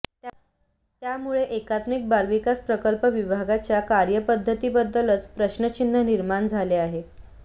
त्यामुळे एकात्मिक बालविकास प्रकल्प विभागाच्या कार्यपध्दतीबद्दलच प्रश्नचिन्ह निर्माण झाले आहे